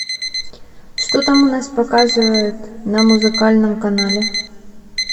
что там у нас показывают на музыкальном канале